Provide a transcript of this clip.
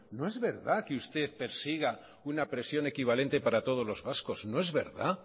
no es verdad que usted persiga una presión equivalente para todos los vascos no es verdad